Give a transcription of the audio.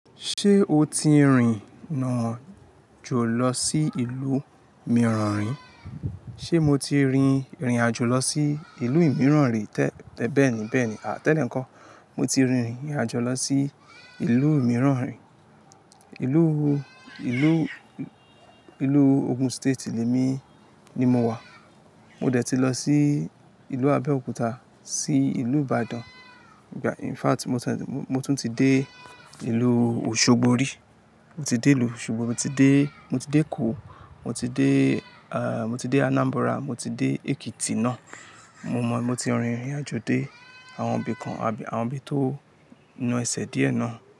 Ṣé o ti rìn nàjò lọ sí ìlú mìíràn rí? Ṣé mo ti rìn irìnàjò lọ sí ìlú mìíràn rí? Tẹ́, bẹ́ẹ̀ni, bẹ́ẹ̀ni. À, tẹ́lẹ̀ nko? Mo ti rìnrìn àjò lọ sí ìlú mìíràn rí. Ìlú, ìlú, ìlú Ogun State lè mi ni mo wà. Mo dẹ̀ ti lọ sí ìlú Abẹ́òkúta, sí ìlú Ìbàdàn. Ìgbà-- in fact, mo tún ti dé ìlú Òṣogbo rí. Mo ti dé ìlú Òṣogbo, mo ti dé, mo ti dé Èkó, mo ti dé mo ti dé Anambra, mo ti dé Ekiti náà. Mo mọ̀, mo ti rìn irìnàjò dé àwọn ibì kan àbí àwọn ibi tó na ẹsẹ̀ díẹ̀ náà.